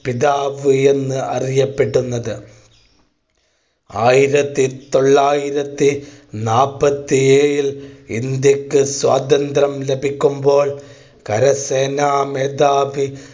പിതാവ് എന്ന് അറിയപ്പെടുന്നത്. ആയിരത്തി തൊള്ളായിരത്തി നാപ്പത്തി ഏഴിൽ ഇന്ത്യക്ക് സ്വാതന്ത്ര്യം ലഭിക്കുമ്പോൾ കരസേനാ മേധാവി